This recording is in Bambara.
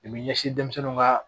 I bɛ ɲɛsin denmisɛnninw ka